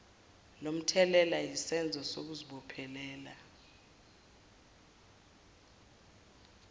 lomthelela yisenzo sokungazibophezeli